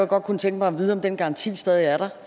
godt kunne tænke mig at vide om den garanti stadig er der